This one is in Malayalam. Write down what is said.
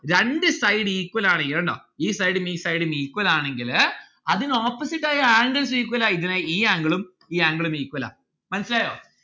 രണ്ട്‌ side EQUAL ആണ് ഈ side ഉം ഈ side ഉം equal ആണെങ്കില് അതിന് opposite ആയ angles equal ആയിരിക്കണം. ഈ angle ഉം ഈ angle ഉം equal ആ. മനസിലായോ